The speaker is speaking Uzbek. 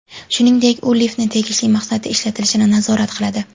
Shuningdek, u liftni tegishli maqsadda ishlatilishini nazorat qiladi.